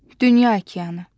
Dünya okeanı.